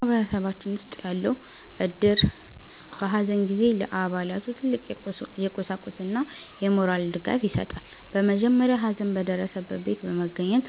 በማህበረሰባችን ውስጥ ያለው እድር፣ በሐዘን ጊዜ ለአባላቱ ትልቅ የቁሳቁስና የሞራል ድጋፍ ይሰጣል። በመጀመሪያ ሐዘን በደረሰበት ቤት በመገኘት